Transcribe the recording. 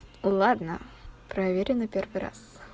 ладно проверю на первый раз